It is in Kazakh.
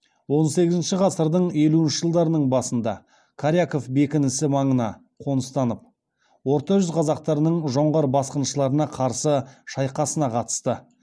он сегізінші ғасырдың елуінші жылдарының басында коряков бекінісі маңына қоныстанып орта жүз қазақтарының жоңғар басқыншыларына қарсы шайқасына қатысты